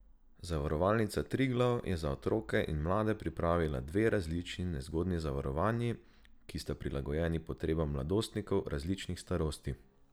Zavarovalnica Triglav je za otroke in mlade pripravila dve različni nezgodni zavarovanji, ki sta prilagojeni potrebam mladostnikov različnih starosti.